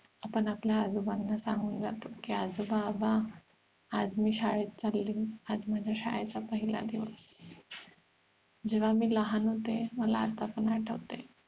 आपण आपल्या आजोबांना सांगून जातो की आजोबाबा आज मी शाळेत चाली आज माझ्या शाळेचा पहिला दिवस जेव्हा मी लहान होते मला आता पण आठवत हे